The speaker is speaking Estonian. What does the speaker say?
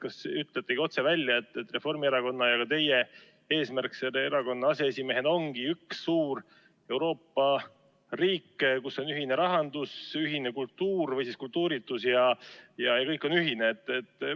Kas ütletegi otse välja, et Reformierakonna ja ka teie eesmärk erakonna aseesimehena ongi üks suur Euroopa riik, kus on ühine rahandus, ühine kultuur või kultuuritus, ja kõik on ühine?